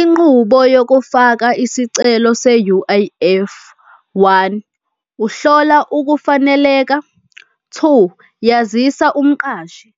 Inqubo yokufaka isicelo se-U_I_F, one, ukuhlola ukufaneleka. Two, yazisa umqashi.